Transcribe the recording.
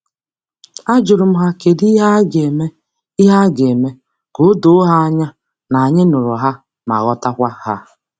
A jurum ha kedi ihe a ga- ihe a ga- eme ka odoo ha anya na anyi nuru ha ma ghotakwa ha.